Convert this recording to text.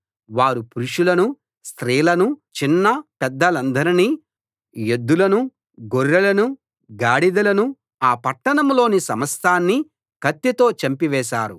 వారు పురుషులనూ స్త్రీలనూ చిన్న పెద్దలనందరినీ యెద్దులనూ గొర్రెలనూ గాడిదలనూ ఆ పట్టణంలోని సమస్తాన్నీ కత్తితో చంపి వేశారు